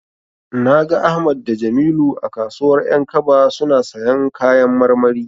Na ga Ahmad da Jamilu a kasuwar 'yankaba suna siyan kayan marmari.